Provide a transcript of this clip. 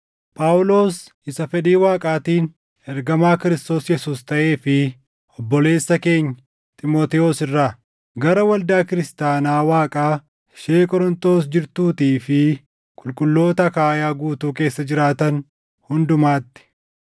Phaawulos isa fedhii Waaqaatiin ergamaa Kiristoos Yesuus taʼee fi obboleessa keenya Xiimotewos irraa, Gara waldaa kiristaanaa Waaqaa ishee Qorontos jirtuutii fi qulqulloota Akaayaa guutuu keessa jiraatan hundumaatti: